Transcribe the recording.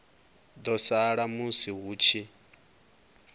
ḓo sala musi hu tshi